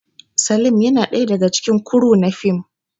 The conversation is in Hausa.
Salim yana daga cikin kuru na fim